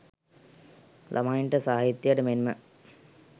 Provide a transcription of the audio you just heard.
ළමයින්ට සාහිත්‍යයට මෙන්ම